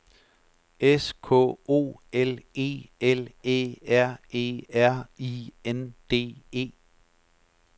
S K O L E L Æ R E R I N D E